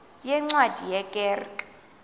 yeencwadi ye kerk